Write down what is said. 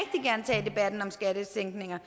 er en om skattesænkninger